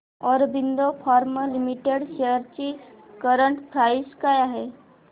Aurobindo Pharma Limited shares ची current price काय आहे